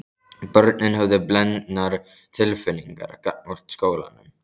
Börnin höfðu blendnar tilfinningar gagnvart skólanum.